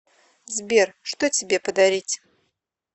сбер что тебе подарить